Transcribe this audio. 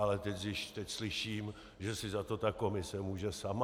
Ale teď slyším, že si za to ta komise může sama.